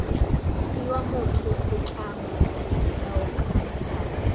fiwa motho setlamo setheo khamphane